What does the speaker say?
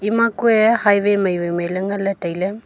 ma kue highway mai wai mai le nganle taile.